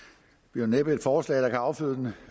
jo næppe et forslag der kan afføde den